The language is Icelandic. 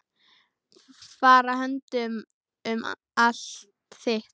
Fara höndum um allt þitt.